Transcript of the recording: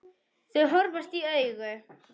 Þau horfast í augu.